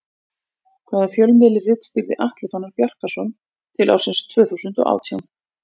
Hvaða fjölmiðli ritstýrði Atli Fannar Bjarkason til ársins tvö þúsund og átján?